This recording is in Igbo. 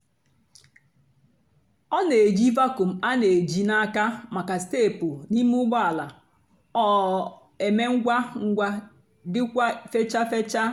ọ na-èjì vacuum a na-èjì n'àka maka steépụ́ na ímé ụ́gbọ́ àla—ọ èmé ngwá ngwá dikwà fèchàa fèchàa.